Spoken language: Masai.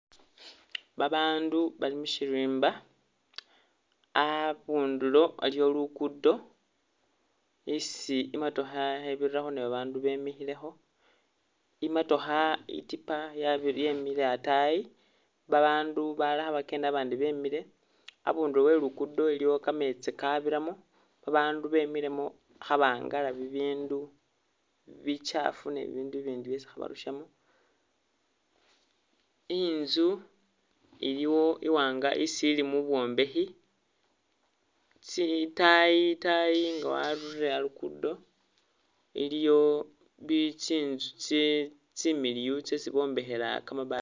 Babandu bali mushirimba, a'bundulo aliwo lukudo isi i'motookha khebirirakho NE babandu bemikhilekho, i'motookha i'tiipa ye yemikhile a'tayi , babandu khabakenda babandi bemile, a'bundulo e'lukudo iliwo ka meetsi ka biramo, babandu bemilemo khaba'ngala bibindu bichafu ne bibindu i'bindi byesi khabarushamo, i'nzu iliwo i'waanga isili mu bwombekhi, tsi i'tayi tayi nga warurile a'lukudo iliyo tsi'nzu tsi tsimiliyu tsesi bombekhela kamabati...